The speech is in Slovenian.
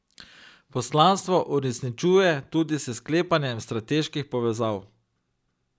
Poslanstvo uresničuje tudi s sklepanjem strateških povezav.